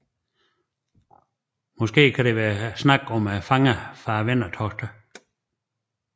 Måske kan der være tale om fangerne fra vendertogene